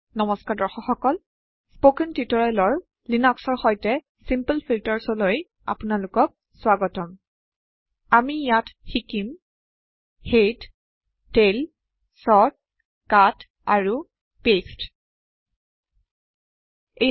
নমস্কাৰ দৰ্শক সকল স্পকেন টিউটোৰিয়েলৰ লিনক্সৰ সৈতে চিমপল ফিলটাৰ্চলৈ আপোনালোকৰলৈ স্ৱাগতম আমি ইয়াত শিকিম হেড টেইল চৰ্ট কাট আৰু পাঁচতে